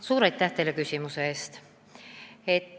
Suur aitäh teile küsimuse eest!